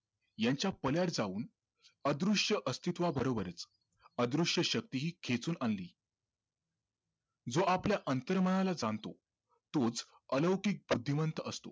यांच्या पल्याड जाऊनअदृश्य अस्तित्वाबरोबरच अदृश्य शक्ती हि खेचून आणली जो आपल्या अंतर्मनाला जाणतो तोच अलौकिक अभिवंत असतो